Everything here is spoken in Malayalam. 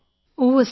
ഉവ്വ് സർ